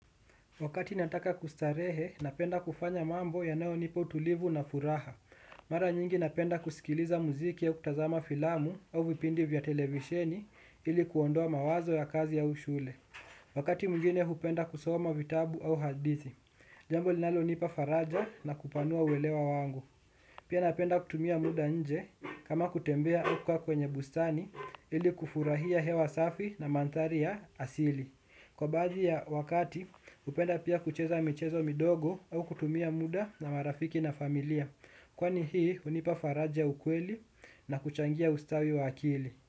Wakati nataka kustarehe, napenda kufanya mambo yanaonipa utulivu na furaha. Mara nyingi napenda kusikiliza muziki au kutazama filamu au vipindi vya televisheni ili kuondoa mawazo ya kazi au shule. Wakati mwingine, hupenda kusoma vitabu au hadithi. Jambo linalonipa faraja na kupanua uelewa wangu. Pia napenda kutumia muda nje kama kutembea au kukaa kwenye bustani ili kufurahia hewa safi na manthari ya asili. Kwa baadhi ya wakati upenda pia kucheza michezo midogo au kutumia muda na marafiki na familia. Kwani hii hunipa faraja ya ukweli na kuchangia ustawi wa akili.